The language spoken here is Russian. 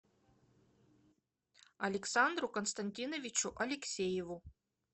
александру константиновичу алексееву